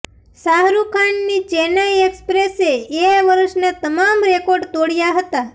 શાહરૂખ ખાનની ચેન્નાઇ એક્સપ્રેસે એ વર્ષના તમામ રેકોર્ડ તોડ્યાં હતા